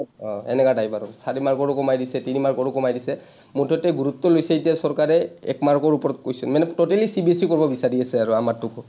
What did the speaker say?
অ, এনেকা type আৰু, চাৰি mark ৰো কমাই দিছে, তিনি mark ৰো কমাই দিছে, মুঠতে গুৰুত্ব লৈছে এতিয়া চৰকাৰে এক mark ৰ ওপৰত question, মানে totallyCBSE কৰিব বিচাৰি আছে আৰু